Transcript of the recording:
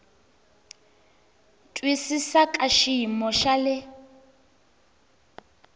twisisa ka xiyimo xa le